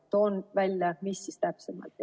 Toon välja, mis siis täpsemalt.